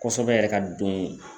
Kosɛbɛ yɛrɛ ka don